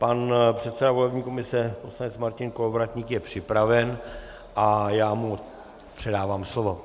Pan předseda volební komise poslanec Martin Kolovratník je připraven a já mu předávám slovo.